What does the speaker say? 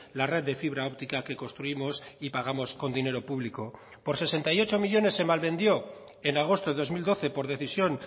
la red de fibra óptica que construimos y pagamos con dinero público por sesenta y ocho millónes se malvendió en agosto de dos mil doce por decisión